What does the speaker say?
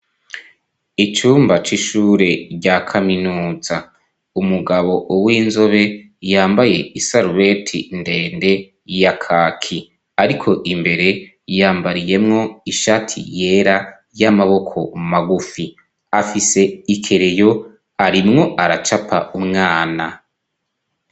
Icumba c'ishure rya kaminutsa. Umugabo w'inzobe yambaye isarubeti ndende ya kaki, ariko imbere yambariyemwo ishati yera y'amaboko magufi ,afise ikereyo arimwo aracapa umwana.